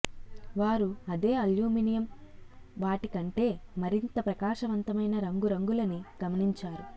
వారు అదే అల్యూమినియం వాటి కంటే మరింత ప్రకాశవంతమైన రంగురంగులని గమనించారు